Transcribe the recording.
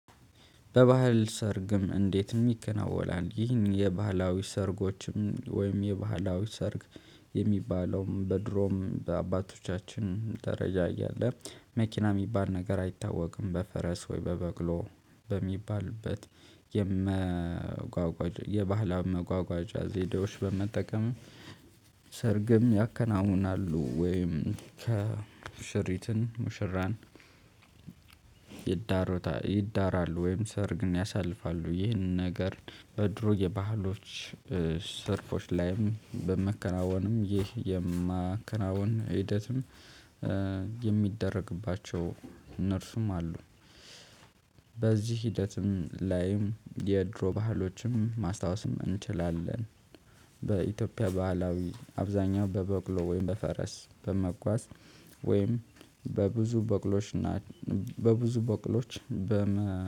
በባህል ሰርግም እንዴት ይከናወናል? ይህን የባህላዊ ሰርጎችም ወይም የባህላዊ ሰርግ የሚባለውም በድሮም በአባቶቻችን ደረጃ እያለ መኪና የሚባል ነገር አይታወቅም በፈረስ ወይ በበቅሎ በሚባልበት የመጓጓዣ የባህላም መጓጓዣ ዘዴዎች በመጠቀም። ሰርግም ያከናውናሉ ወይም ከሙሽሪትን ሙሽራን ይዳሩታል ይዳራሉ ወይም ሰርግን ያሳልፋሉ። ይህንን ነገር በድሮ የባህሎች ሰርፎች ላይም በመከናወንም ይህ የማከናወን ሂደትም የሚደረግባቸው እነርሱም አሉ። በዚህ ሂደትም ላይም የድሮ ባህሎችም ማስታወስም እንችላለን። በኢትዮጵያ ባህላዊ አብዛኛው በበቅሎ ወይም በፈረስ በመጓዝ ወይም በብዙ በቅሎሽ እና በብዙ በቅሎዎች በመ